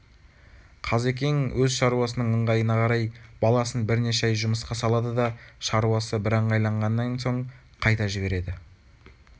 қазекең өз шаруасының ыңғайына қарай баласын бірнеше ай жұмысқа салады да шаруасы бірыңғайланған соң қайта жібереді